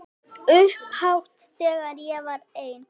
Upphátt þegar ég var ein.